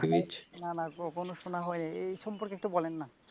না না কখনো শোনা হয়নি এ সম্পর্কে একটু বলেন না ।